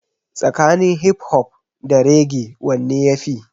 Tsakanin hip hop da raggae wanne ya fi?